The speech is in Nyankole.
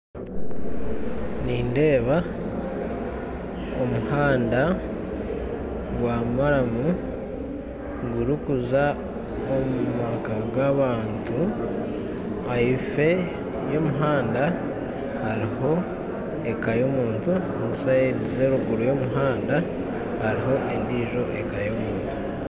Nindeeba omuhanda gw'amaraamu gurikuza omu maka g'abantu, ahaifo y'omuhanda hariho eka y'omuntu na saindi z'eruguru y'omuhanda hariho endijo eka y'omuntu